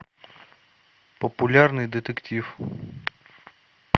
популярный детектив